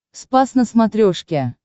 спас на смотрешке